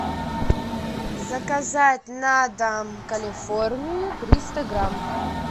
заказать на дом калифорнию триста грамм